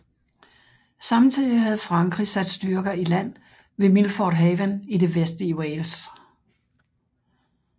Samtidig havde Frankrig sat styrker i land ved Milford Haven i det vestlige Wales